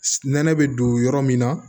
Nɛnɛ bɛ don yɔrɔ min na